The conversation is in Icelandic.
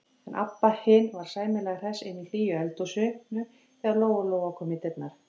En Abba hin var sæmilega hress inni í hlýju eldhúsinu þegar Lóa-Lóa kom í dyrnar.